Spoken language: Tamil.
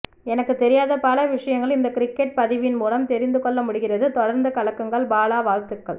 எனக்கு தெரியாத பல விஷயங்கள் இந்த கிரிக்கெட் பதிவின் மூலம் தெரிந்து கொள்ள முடிகிறது தொடர்ந்து கலக்குங்கள் பாலா வாழ்த்துக்கள்